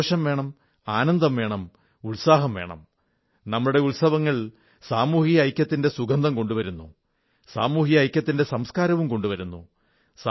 സന്തോഷം വേണം ആനന്ദം വേണം ഉത്സാഹം വേണം നമ്മുടെ ഉത്സവങ്ങൾ സാമൂഹിക ഐക്യത്തിന്റെ സുഗന്ധം കൊണ്ടുവരുന്നു സാമൂഹിക ഐക്യത്തിന്റെ സംസ്കാരവും കൊണ്ടുവരുന്നു